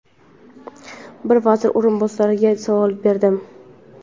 bir vazir o‘rinbosariga savol berdim.